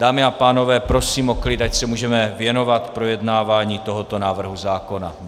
Dámy a pánové, prosím o klid, ať se můžeme věnovat projednávání tohoto návrhu zákona.